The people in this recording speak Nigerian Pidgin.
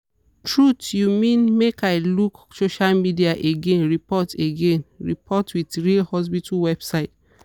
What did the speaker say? truth you mean make i luke social media again report again report with real hospital website.